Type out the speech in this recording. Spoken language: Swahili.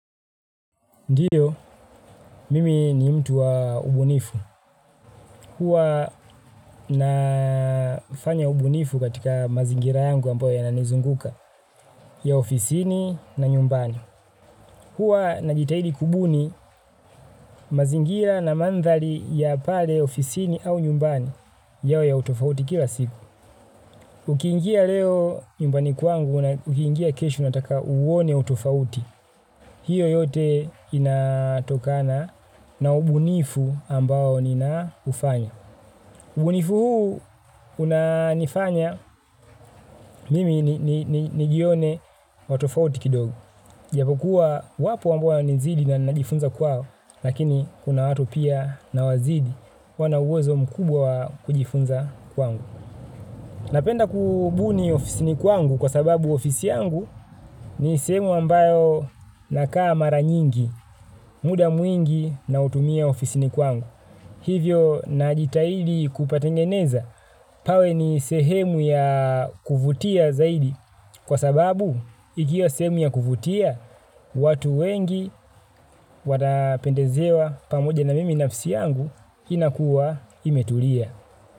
Ndiyo, mimi ni mtu wa ubunifu. Huwa nafanya ubunifu katika mazingira yangu ambayo yananizunguka, ya ofisini na nyumbani. Huwa najitahidi kubuni mazingira na mandhari ya pale ofisini au nyumbani yao ya utofauti kila siku. Ukiingia leo nyumbani kwangu na ukiingia kesho nataka uone utofauti. Hiyo yote inatokana na ubunifu ambao ninaufanya. Ubunifu huu unanifanya mimi nijione wa tofauti kidogo. Japo kuwa wapo ambao wananizidi na najifunza kwao, lakini kuna watu pia nawazidi wana uwezo mkubwa kujifunza kwangu. Napenda kubuni ofisini kwangu kwa sababu ofisi yangu ni sehemu ambayo nakaa mara nyingi. Muda mwingi nautumia ofisini kwangu. Hivyo najitahidi kupatengeneza. Pawe ni sehemu ya kuvutia zaidi. Kwa sababu, ikiwa sehemu ya kuvutia, watu wengi watapendezewa pamoja na mimi nafsi yangu inakuwa imetulia.